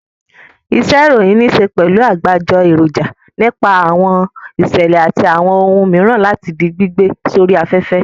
Iṣẹ́-ìròyìn níṣe pẹ̀lú àgbájọ èròjà nípa àwọn ìṣẹ̀lẹ̀ àti àwọn ohun mìíràn láti di gbígbé sórí afẹ́fẹ́.